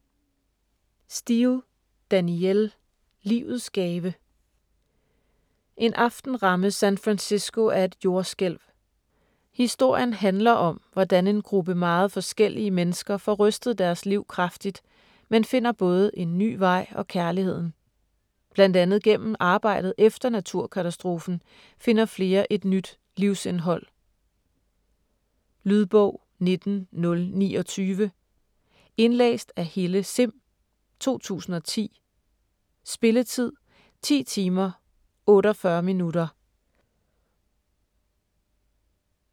Steel, Danielle: Livets gave En aften rammes San Francisco af et jordskælv. Historien handler om, hvordan en gruppe meget forskellige mennesker får rystet deres liv grundigt, men finder både en nye vej og kærligheden. Bl.a. gennem arbejdet efter naturkatastrofen finder flere et nyt livsindhold. Lydbog 19029 Indlæst af Helle Sihm, 2010. Spilletid: 10 timer, 48 minutter.